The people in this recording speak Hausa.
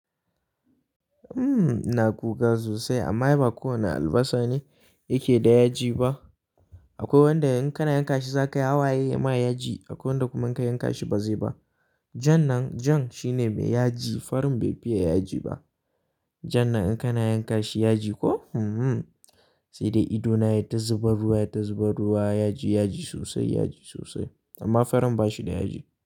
Uhm ina kuka sosai amma ai ba kowane albasa ne yake da yaji ba. Akwai wanda in kana yanka shi zaka yi hawaye yayima yaji. Akwai wanda kuma in ka yanka shi ba zai ba. Jan nan, jan shine mai yaji, farin bai fiye yaji ba. Jan nan in kana yanka shi yaji ko? Saidai ido na yata zubar ruwa, yayi ta zubar ruwa, yaji, yaji sosai, yaji sosai. Amma farin ba shi da yaji.